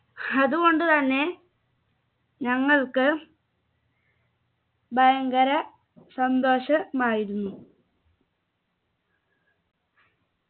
അതുകൊണ്ടു തന്നെ ഞങ്ങൾക്ക് ഭയങ്കര സന്തോഷമായിരുന്നു